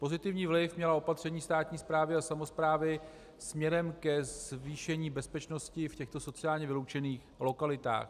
Pozitivní vliv měla opatření státní správy a samosprávy směrem ke zvýšení bezpečnosti v těchto sociálně vyloučených lokalitách.